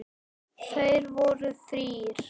Þeir voru þrír.